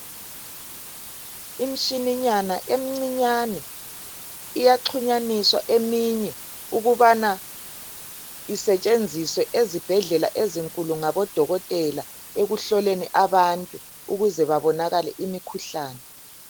Imshininyana emncinyane. Iyaxhunyaniswa eminye ukubana isetshenziswe ezibhedlela ezinkulu ngabadokotela ekuhloleni abantu ukuze babonakale imikhuhlane.